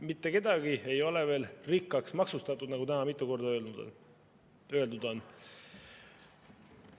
Mitte kedagi ei ole veel rikkaks maksustatud, nagu täna mitu korda öeldud on.